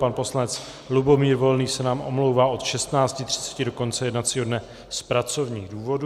Pan poslanec Lubomír Volný se nám omlouvá od 16.30 do konce jednacího dne z pracovních důvodů.